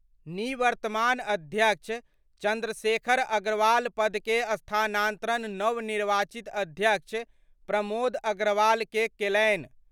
निवर्तमान अध्यक्ष चंद्रशेखर अग्रवाल पद के स्थानांतरण नवनिर्वाचित अध्यक्ष प्रमोद अग्रवाल के केलनि।